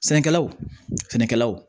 Sɛnɛkɛlawl sɛnɛkɛlaw